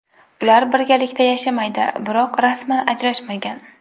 Ular birgalikda yashamaydi, biroq rasman ajrashmagan.